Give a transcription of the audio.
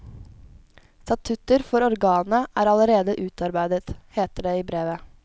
Statutter for organet er allerede utarbeidet, heter det i brevet.